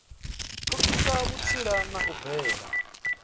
pfukisa vhutsila na u bvela